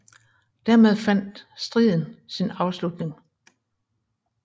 Dermed fandt fandt edstriden sin afslutning